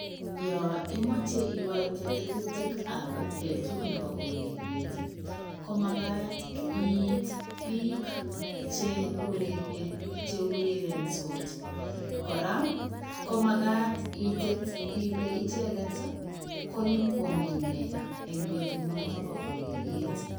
Yaan imachei igaitee tetutik ab betut nebo ureriet ii , komagaat iit biik che urerenie kora ko magaat itet Ile ichegeet ko inyokoyamee nee en betuut noton bo ureriet.